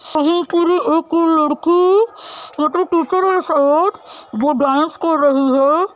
यह पूरी एक लड़की ये तो टीचर वो डांस कर रही है।